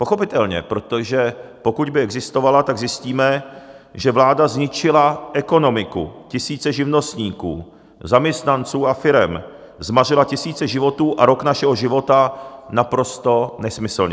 Pochopitelně, protože pokud by existovala, tak zjistíme, že vláda zničila ekonomiku, tisíce živnostníků, zaměstnanců a firem, zmařila tisíce životů a rok našeho života naprosto nesmyslně.